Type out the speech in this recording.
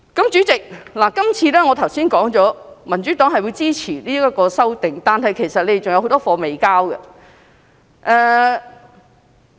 主席，我剛才說民主黨會支持是次修訂，但其實政府還有很多工作未完成。